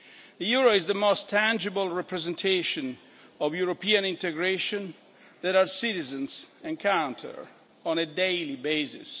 The euro is the most tangible representation of European integration that our citizens encounter on a daily basis.